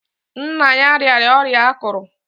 Nna ya rịara ọrịa akụrù.